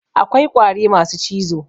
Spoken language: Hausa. Akwai ƙwari masu cizo